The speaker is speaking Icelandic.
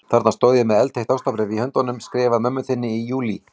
Þarna stóð ég með eldheitt ástarbréf í höndunum, skrifað mömmu þinni í júlí.